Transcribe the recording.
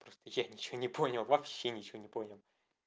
просто я ничего не понял вообще ничего не понял